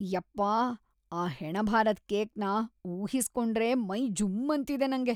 ಯಪ್ಪಾ, ಆ ಹೆಣಭಾರದ್‌ ಕೇಕ್‌ನ ಊಹಿಸ್ಕೊಂಡ್ರೇ ಮೈ ಜುಮ್ಮಂತಿದೆ ನಂಗೆ.